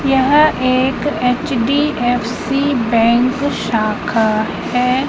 यह एक H D F C bank शाखा है।